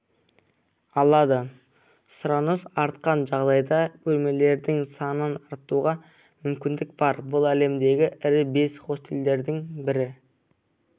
алады сұраныс артқан жағдайда бөлмелердің санын арттыруға мүкіндік бар бұл әлемдегі ірі бес хостелдің бірі